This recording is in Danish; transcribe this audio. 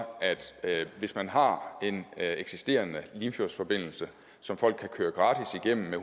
at hvis man har en eksisterende limfjordsforbindelse som folk kan køre gratis igennem med